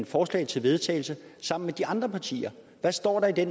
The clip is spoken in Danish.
forslag til vedtagelse sammen med de andre partier hvad står der i det